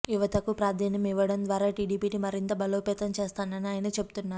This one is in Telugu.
యువతకు ప్రాధాన్యం ఇవ్వడం ద్వారా టీడీపీని మరింత బలోపేతం చేస్తానని ఆయన చెబుతున్నారు